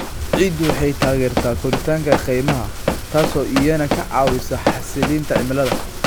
Ciiddu waxay taageertaa koritaanka kaymaha, taas oo iyana ka caawisa xasilinta cimilada.